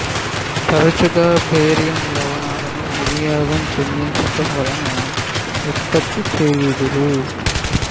తరచుగా బేరియం లవణాలను వియోగం చెందించడం వలన ఉత్పత్తి చెయ్యుదురు